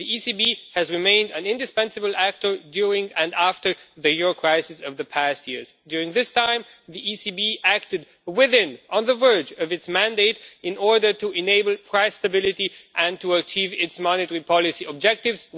The ECB has remained an indispensable actor during and after the euro crisis of the past years. During this time, the ECB has acted within and on the verge of its mandate, in order to enable price stability and to achieve its monetary policy objectives.